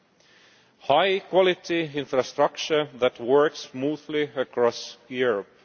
and high-quality infrastructure that works smoothly across Europe.